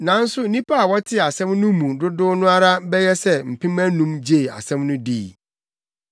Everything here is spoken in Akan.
Nanso nnipa a wɔtee asɛm no mu dodow no ara bɛyɛ sɛ mpem anum gyee asɛm no dii.